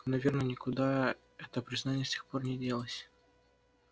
наверное никуда это признание с тех пор не делось